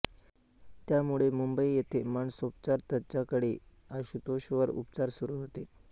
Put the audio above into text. त्यामुळे मुंबई येथे मानसोपचार तज्ज्ञाकडे आशुतोष वर उपचार सुरू होते